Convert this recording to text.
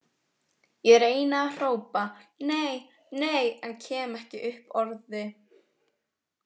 Ég reyni að hrópa: Nei, nei, en kem ekki upp orði.